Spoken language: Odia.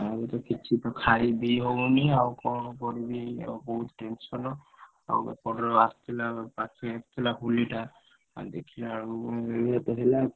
ଆଉ ତ କିଛି ତ ଖାଇ ପିଇ ହଉନି ଆଉ କଣ କରିବି ଏଇଭଳିଆ ବହୁତ୍ tension ଆଉ ଏପଟର ଆସିଥିଲା ପାଖେଇ ଆସିଥିଲା ହୋଲି ଟା। ଆଉ ଦେଖିଲାବେଳକୁ ଏୟା ତ ହେଲା